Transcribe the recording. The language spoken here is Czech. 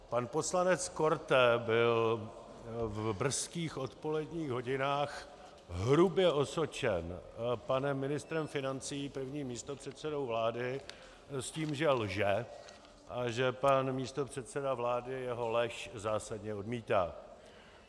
Pan poslanec Korte byl v brzkých odpoledních hodinách hrubě osočen panem ministrem financí, prvním místopředsedou vlády, s tím, že lže a že pan místopředseda vlády jeho lež zásadně odmítá.